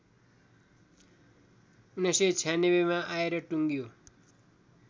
१९९६ मा आएर टुङ्गियो